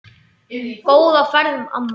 Góða ferð, amma.